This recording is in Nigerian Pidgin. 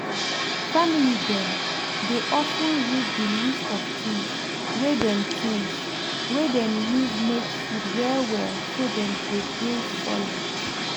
family dem dey of ten read the list of things wey dem things wey dem use make food well well so dem go dey solid